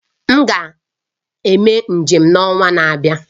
M ga-eme njem n'ọnwa na-abịa